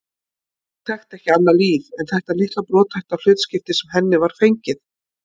Hún þekkti ekki annað líf en þetta litla brothætta hlutskipti sem henni var fengið.